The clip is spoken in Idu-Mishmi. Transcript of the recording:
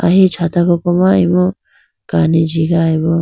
ahi chata koko ma imu kani jigayi bo.